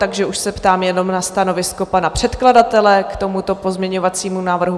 Takže už se ptám jenom na stanovisko pana předkladatele k tomuto pozměňovacímu návrhu.